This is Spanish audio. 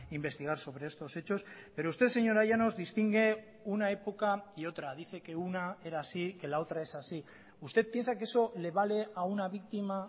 investigar sobre estos hechos pero usted señora llanos distingue una época y otra dice que una era así y que la otra es así usted piensa que eso le vale a una víctima